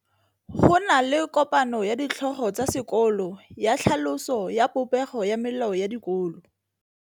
Go na le kopanô ya ditlhogo tsa dikolo ya tlhaloso ya popêgô ya melao ya dikolo.